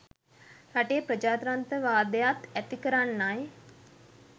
රටේ ප්‍රජාත්‍රන්ත්‍රවාදයත් ඇති කරන්නයි.